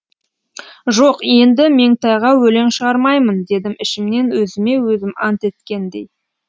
жоқ енді меңтайға өлең шығармаймын дедім ішімнен өзіме өзім ант еткендей